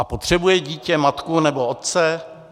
A potřebuje dítě matku nebo otce?